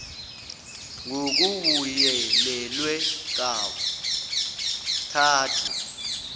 b ngokubuyelelwe kathathu